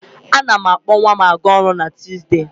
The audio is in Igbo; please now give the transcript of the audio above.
A na m akpọ nwa m a ga-ọrụ na Tuuzdee.